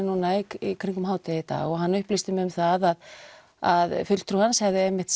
núna í kringum hádegi í dag og hann upplýsti mig um að að fulltrúi hans hafi einmitt